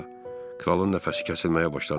Kralın nəfəsi kəsilməyə başladı.